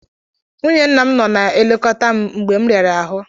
Nwunye nna m nọ na-elekọta m mgbe m riara ahụ.